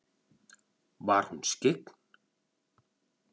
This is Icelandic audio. Var hún skyggn?